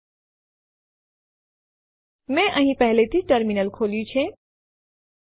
જો ટેસ્ટ2 અસ્તિત્વમાં ન હોય તો પ્રથમ તે બનાવશે અને પછી ટેસ્ટ1 ના સમાવિષ્ટો તેમાં કોપી કરશે